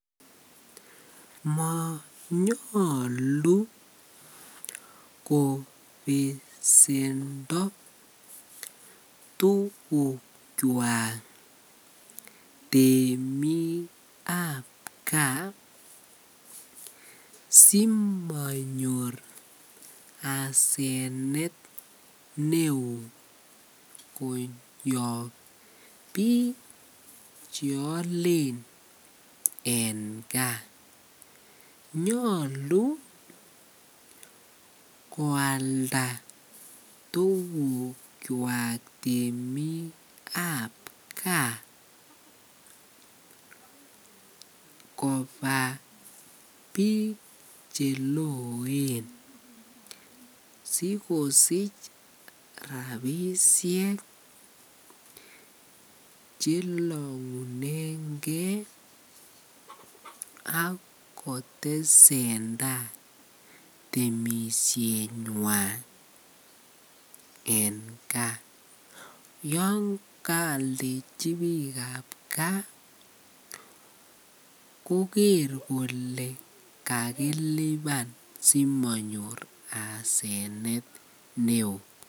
Monyolu kobesendo tukukwak temiikab kaa simonyor asenet neoo koyob biik cheolen en kaa, nyolu koalda tukukwak temikab kaa kobaa biik cheloen sikosich rabishek chelongunenge ak kotesenta temishenywan en kaa, yoon kaalda tukukab kaa koker kolee kakiliban simonyor asenet neoo.